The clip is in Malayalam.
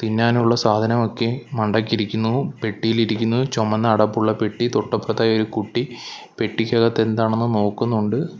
തിന്നാനുള്ള സാധനമൊക്കെ മണ്ടയ്ക്ക് ഇരിക്കുന്നു പെട്ടിയിലിരിക്കുന്നു ചൊമന്ന അടപ്പുള്ള പെട്ടി തൊട്ടപ്പുറത്തായി ഒരു കുട്ടി പെട്ടിക്കകത്ത് എന്താണെന്ന് നോക്കുന്നുണ്ട്.